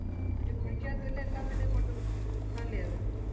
ഒരു കുഴിക്കാത് അല്ലെ എല്ലാത്തിനെയും കൊണ്ട് തള്ളിത്